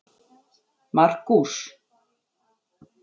Markús